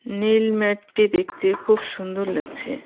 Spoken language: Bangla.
নীল ম্যাটটি দেখতে খুব সুন্দর লাগছে.